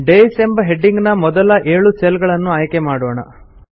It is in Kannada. ಡೇಸ್ ಎಂಬ ಹೆಡಿಂಗ್ ನ ಮೊದಲ ಏಳು ಸೆಲ್ ಗಳನ್ನು ಆಯ್ಕೆ ಮಾಡೋಣ